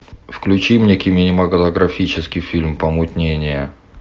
включи мне кинематографический фильм помутнение